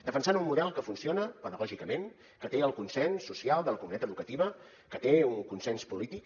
defensant un model que funciona pedagògicament que té el consens social de la comunitat educativa que té un consens polític